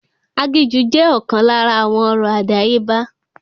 Aginjù jẹ́ ọ̀kan lára àwọn ọ̀rọ̀ àdáyébá